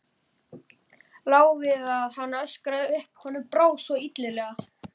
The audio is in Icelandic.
Lá við að hann öskraði upp, honum brá svo illilega.